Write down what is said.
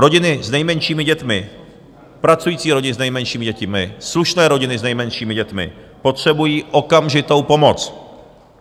Rodiny s nejmenšími dětmi, pracující rodiny s nejmenšími dětmi, slušné rodiny s nejmenšími dětmi potřebují okamžitou pomoc.